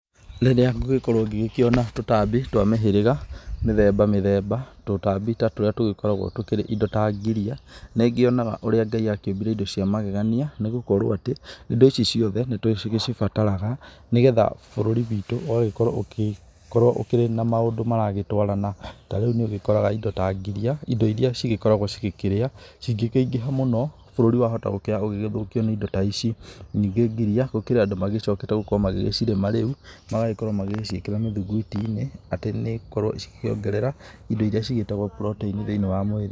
Rĩríĩ ngũgĩkorwo ngĩona tũtambi twa mĩhĩrĩga mĩthemba mĩthemba, tũtambi ta tũrĩa tũkoragwo tũkĩrĩ indo ta ngiria nĩngĩona ũrĩa Ngai akĩũmbire indo ciamagegania nĩgũkorwo atĩ indo ici ciothe nĩtũcibataraga nĩgetha bũrũri witũ ũgagĩkorwo ũkĩrĩ na maũndũ maragĩtwarana, tarĩũ nĩũgĩkoraga indo ta ngiria indo irĩa cigĩkoragwo cigĩkĩrĩa cingĩkĩingĩha mũno bũrũri wahota gũkorwo ũkĩthũkio nĩ indo ta ici, ningĩ ngiria gũkĩrĩ andũ macokete magĩcirĩma rĩũ magagĩkorwo magĩciĩkĩra mĩthigwitinĩ atĩ nicigũkorwo cikĩongerea indo irĩa ciĩtagwo protein thĩinĩ wa mwĩrĩ.